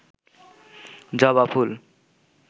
জবা ফুল